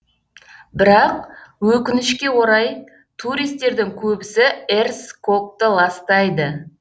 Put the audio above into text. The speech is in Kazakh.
бірақ өкінішке орай туристердің көбісі эрс кокты ластайды